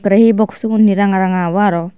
aii hee bokshugun hee ranga ranga bo aro.